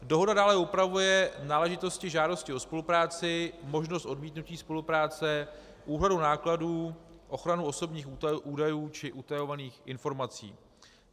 Dohoda dále upravuje náležitosti žádosti o spolupráci, možnost odmítnutí spolupráce, úhradu nákladů, ochranu osobních údajů či utajovaných informací.